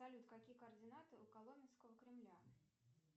салют какие координаты у коломенского кремля